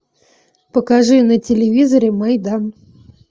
покажи на телевизоре майдан